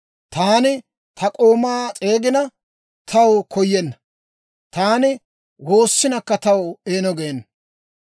Taani ta k'oomaa s'eegina, taw koyenna; taani woossinakka, taw eeno geena.